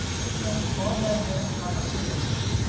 Hvenær skoðaðirðu hana seinast?